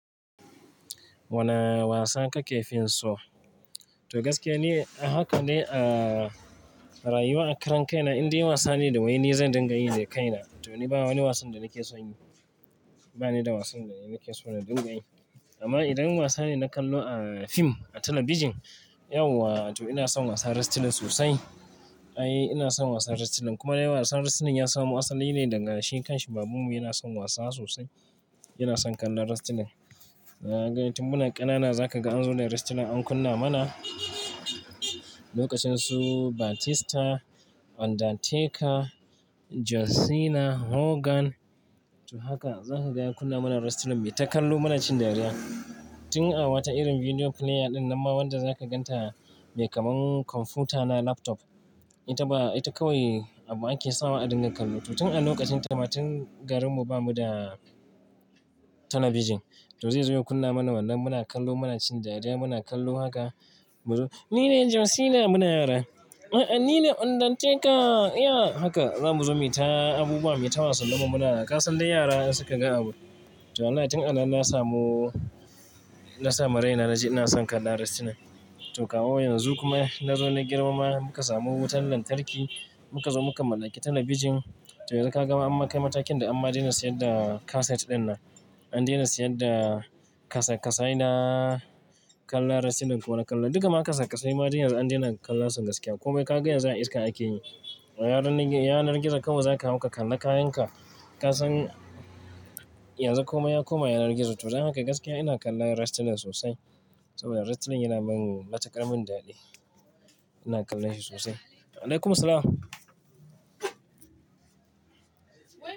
Wane wasa kake finso? To gaskiya ni, haka ne. A rayuwa a karen kai na, in dai wasa ne da waini zan dinga yi da kai na. To ni ba wani wasan da nake so in yi. Ba ni da wasan da nake so na dinga yi. Amma idan wasa ne na kallo a fim, a talabijin, yauwa to ina son wasan wrestling sosai. I ina son wasan wrestling kuma dai wasan wrestling ya samu asali ne daga shi ƙan shi baban mu yana son wasa sosai. Yana son kallon wrestling. Kaga, tun muna ƙanana za ka ga an zo da wrestling an kunna mana. Lokacin su Batista, Undertaker, John Cena, Hogan to haka za ka ga ya kunna mana wrestling me ta kallo mana cin dariya. Tun a wata irin Video player din nan ma wanda, zaka ganta mai kamar computer na laptop. Ita ba, ita kawai abu ake sawa a dinga kallo. To tun a lokacin ta ma tun garin mu ba mu da talabijin. To zai zo ya kunna mana wannan muna kallo muna cin dariya muna kallo haka. Mu zo "ni ne John Cena!" muna yara. "A'a ni ne Undertaker ya!" haka za mu zo mu yi ta abubuwa, mu yi ta wasa. Muna kasan de yara in suka ga abu. To wallahi tun a nan na samu, na sama raina na ji ina son kallon wrestling. To kawo yanzu kuma na zo na girma ma muka samu wutar lantarki muka zo muka mallaki talabijin to za ka ga an makai matakin da amma dai na siyar da kaset din nan. An daina siyar da kasa-kasai na kallon wrestling ko na kallo. Duka makasa-kasai ma dai yanzu an daina kallon su gaskiya. Koma kai ka ga yanzu a iska ake yi. Yanar gizo kawai za ka hau ka kalla kayan ka. Kasan yanzu komai ya koma yanar gizo. To don haka gaskiya ina kallon wrestling sosai saboda wrestling yana min matuƙar min daɗi. Ina kallon shi sosai. Alaikumus salam.